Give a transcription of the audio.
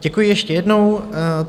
Děkuji ještě jednou.